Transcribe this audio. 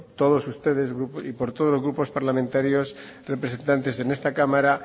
todos ustedes y por todos los grupos parlamentarios representantes en esta cámara